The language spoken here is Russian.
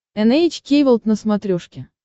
эн эйч кей волд на смотрешке